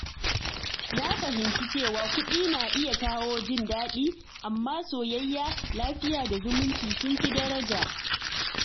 Na fahimci cewa kuɗi na iya kawo jin daɗi, amma soyayya, lafiya, da zumunci sun fi daraja.